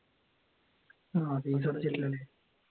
ആഹ് ഫീസടച്ചിട്ടില്ലല്ലേ